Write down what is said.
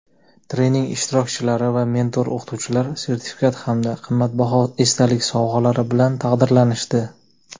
trening ishtirokchilari va mentor-o‘qituvchilar sertifikat hamda qimmatbaho esdalik sovg‘alari bilan taqdirlanishdi.